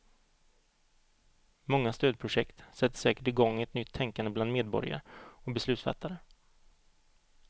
Många stödprojekt sätter säkert igång ett nytt tänkande bland medborgare och beslutsfattare.